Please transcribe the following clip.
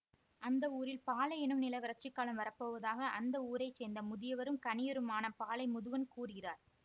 அந்த ஊரில் பாலை என்னும் நில வறட்சிக்காலம் வரப்போவதாக அந்த ஊரைச்சேர்ந்த முதியவரும் கணியருமான பாலை முதுவன் கூறுகிறார்